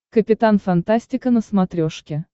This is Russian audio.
капитан фантастика на смотрешке